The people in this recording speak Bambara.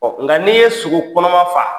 Nga n'i ye sogo kɔnɔma faa